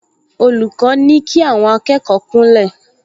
Olùkọ́ ní kí àwọn akẹ́kọ̀ọ kúnlẹ̀